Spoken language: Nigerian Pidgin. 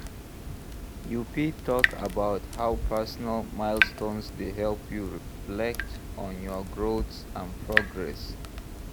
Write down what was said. You fit talk about how personal milestones dey help you reflect on your growth and progress.